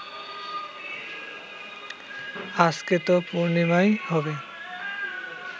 আজকে তো পূর্ণিমাই হবে